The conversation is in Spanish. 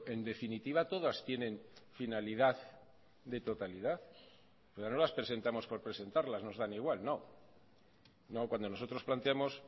en definitiva todas tienen finalidad de totalidad pero no las presentamos por presentarlas nos dan igual no cuando nosotros planteamos